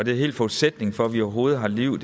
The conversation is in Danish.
hele forudsætningen for at vi overhovedet har liv